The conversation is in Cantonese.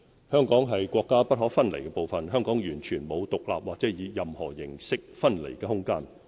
香港是國家不可分離的部分，香港完全沒有獨立或以任何形式分離的空間。